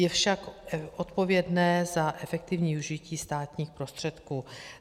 Je však odpovědné za efektivní využití státních prostředků.